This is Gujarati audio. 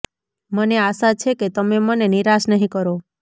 મને આશા છે કે તમે મને નિરાશ નહીં કરો